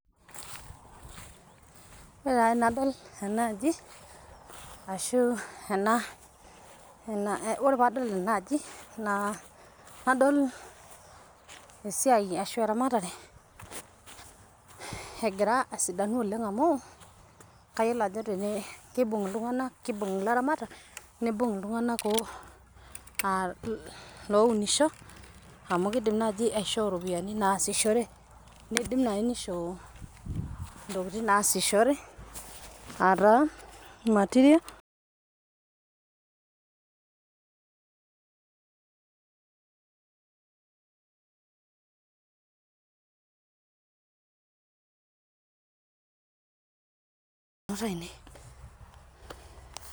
Ore taa tenadol enaaji nadol esiaai ashu irramatare egira asidanu oleng amuu ksyiolo ajo keibung' ltunganak keubung' illaramatak, neibung' ltunganak lounisho amu keidim enaa aji aishoo iropiyiani naashishore neidim nai neishoo intokitin naashishore aataa material